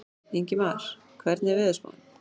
Ingmar, hvernig er veðurspáin?